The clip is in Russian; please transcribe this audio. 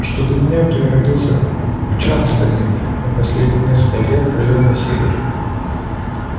что до меня то я родился в чарльстоне но последние несколько лет провёл на севере